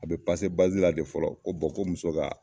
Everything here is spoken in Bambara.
A bɛ la de fɔlɔ ko ko muso ka